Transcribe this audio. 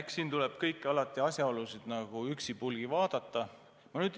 Eks siin tuleks kõiki asjaolusid üksipulgi vaadata.